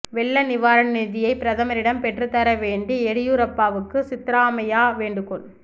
வெள்ள நிவாரண நிதியை பிரதமரிடம் பெற்றுத் தர வேண்டும்எடியூரப்பாவுக்கு சித்தராமையா வேண்டுகோள்